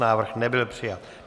Návrh nebyl přijat.